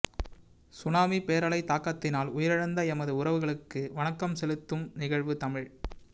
tsunami பேரலை தாக்கத்தினால் உயிரிழந்த எமது உறவுகளுக்கு வணக்கம் செலுத தும் நிகழ்வு தமிழ்த்